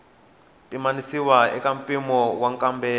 pimanisiwa eka mimpimo wa nkambelo